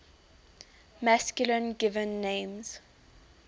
masculine given names